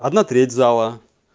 одна треть зала